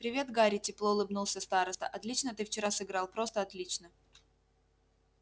привет гарри тепло улыбнулся староста отлично ты вчера сыграл просто отлично